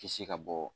Kisi ka bɔ